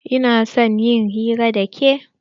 Ina son in yi hira da ke.